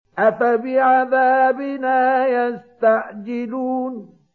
أَفَبِعَذَابِنَا يَسْتَعْجِلُونَ